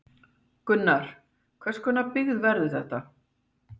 Gunnar, hvers konar byggð verður þetta?